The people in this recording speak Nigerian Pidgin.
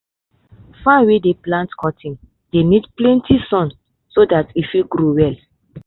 farm wey dey plant cotton dey need plenty sun so dat e fit grow well.